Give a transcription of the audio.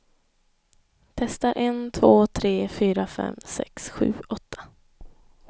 Testar en två tre fyra fem sex sju åtta.